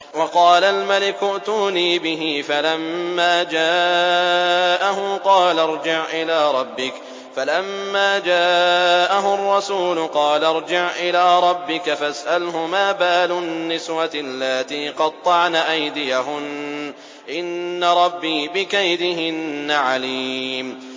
وَقَالَ الْمَلِكُ ائْتُونِي بِهِ ۖ فَلَمَّا جَاءَهُ الرَّسُولُ قَالَ ارْجِعْ إِلَىٰ رَبِّكَ فَاسْأَلْهُ مَا بَالُ النِّسْوَةِ اللَّاتِي قَطَّعْنَ أَيْدِيَهُنَّ ۚ إِنَّ رَبِّي بِكَيْدِهِنَّ عَلِيمٌ